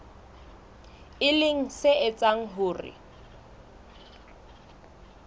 e leng se etsang hore